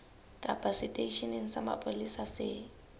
kapa seteisheneng sa mapolesa se